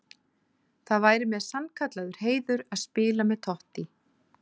Það væri mér sannkallaður heiður að spila með Totti.